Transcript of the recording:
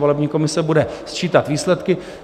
Volební komise bude sčítat výsledky.